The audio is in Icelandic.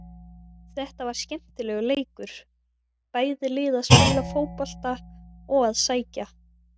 Þetta var skemmtilegur leikur, bæði lið að spila fótbolta og að sækja.